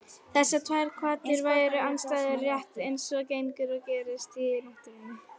Þessar tvær hvatir væru andstæður, rétt eins og gengur og gerist í náttúrunni.